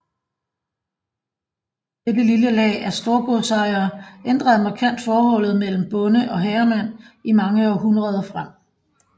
Dette lille lag af storgodsejere ændrede markant forholdet mellem bonde og herremand i mange århundreder frem